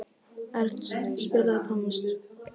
Ernst, spilaðu tónlist.